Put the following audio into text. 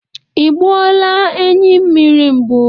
I gbuo la enyi mmiri mbụ?